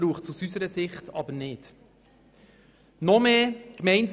Aus unserer Sicht braucht es nicht noch mehr Kompetenzen.